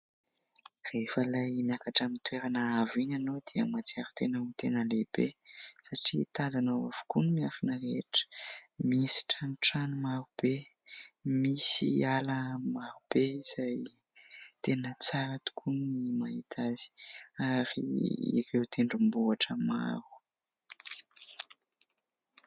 Rehefa ilay miakatra amin'ny toerana avo iny ianao dia mahatsiaro tena ho tena lehibe satria tazanao avokoa ny miafina rehetra. Misy tranotrano maro be, misy ala maro be izay tena tsara tokoa ny mahita azy ary ireo tendrombohitra maro.